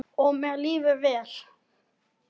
Og mér líður vel.